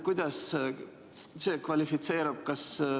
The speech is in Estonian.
Kuidas see kvalifitseerub?